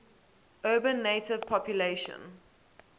urban native population